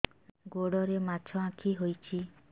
ଗୋଡ଼ରେ ମାଛଆଖି ହୋଇଛି